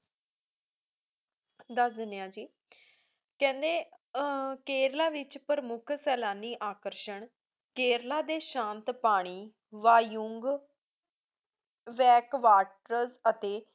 ਦੱਸ ਦਿੰਨੇ ਹਾਂ ਜੀ ਕਹਿੰਦੇ ਅਹ ਕੇਰਲਾ ਵਿੱਚ ਪ੍ਰਮੁੱਖ ਸੈਲਾਨੀ ਆਕਰਸ਼ਣ ਕੇਰਲਾ ਦੇ ਸ਼ਾਂਤ ਪਾਣੀ ਵਾਯੁਊਂਗ back waters ਅਤੇ